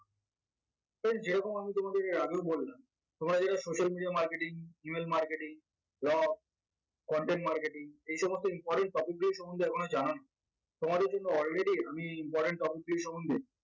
friends যেরকম আমি তোমাদেরকে এর আগেও বললাম তোমরা যারা social media marketing, email marketing, blog content marketing এই সমস্ত important topic গুলো সম্বন্ধে এখনও জানোনা তোমাদের জন্য alreadt আমি important topic গুলো সম্বন্ধে